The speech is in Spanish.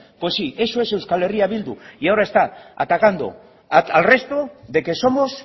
pues sí eso es euskal herria bildu y ahora está atacando al resto de que somos